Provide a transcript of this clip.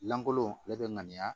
Lankolon ale bɛ ŋaniya